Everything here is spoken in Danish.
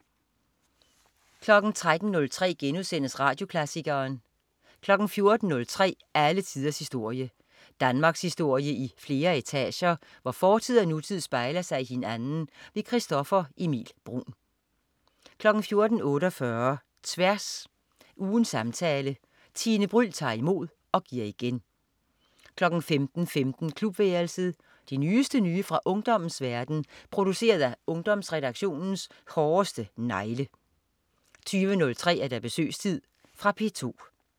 13.03 Radioklassikeren* 14.03 Alle tiders historie. Danmarkshistorie i flere etager, hvor fortid og nutid spejler sig i hinanden. Christoffer Emil Bruun 14.48 Tværs. Ugens samtale. Tine Bryld tager imod og giver igen 15.15 Klubværelset. Det nyeste nye fra ungdommens verden, produceret af Ungdomsredaktionens hårdeste negle 20.03 Besøgstid. Fra P2